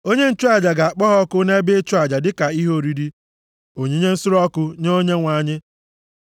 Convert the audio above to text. Onye nchụaja ga-akpọ ha ọkụ nʼebe ịchụ aja dịka ihe oriri, onyinye nsure ọkụ nye Onyenwe anyị.